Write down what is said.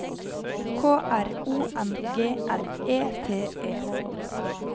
K R O N G L E T E